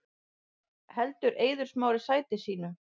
Heldur Eiður Smári sæti sínu